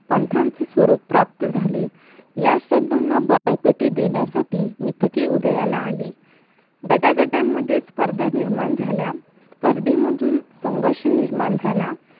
पंतांचे स्वरूप प्राप्त झाले या श्रद्धांना बळकटी देण्यासाठी मितके उदयाला आली गटागटांमध्येच स्पर्धा निर्माण झाल्या स्पर्धेंमधून संघर्ष निर्माण झाला